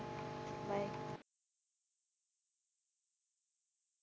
Bye